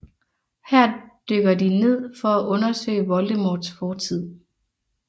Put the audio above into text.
Her dykker de ned for at undersøge Voldemorts fortid